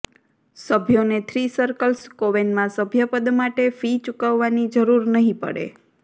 સભ્યોને three circles કોવેનમાં સભ્યપદ માટે ફી ચૂકવવાની જરૂર નહીં પડે